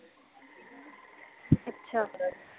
ਅੱਛਾ